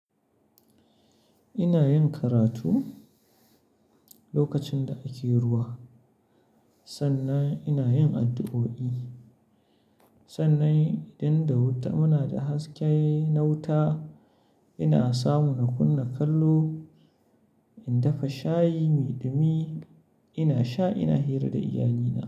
Ina yin karatu lokacin da ake ruwa, sannan ina yin addu'o'i. Sannan idan da wuta muna da haske na wuta, ina samun kunna kallo, in dafa shayi, mai dumi ina sha ina hira da iyalina.